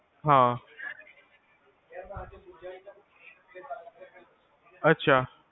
ਹਾਂ ਅਛਾ